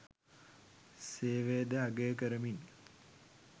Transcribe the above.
සේවය ද අගය කරමින්